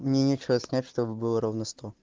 мне нечего снять чтобы было ровно сто